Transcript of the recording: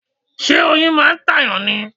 Ṣé oyin máà ń ta èyàn ni?